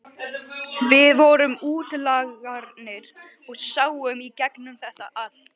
Við vorum útlagarnir og sáum í gegnum þetta allt.